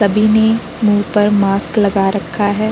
सभी ने मुँह पर मास्क लगा रखा है।